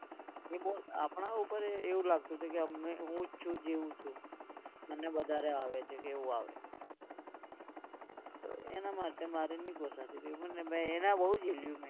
એ બોલ આપણા ઉપર એવુ લાગતુ હતું કે હુ જ છુ જેવુ છુ. મને વધારે આવે છે કે એવુ આવે તો એના માટે મારે નહિ પોસાતુ તો મેં એના બહુ જેલ્યુ.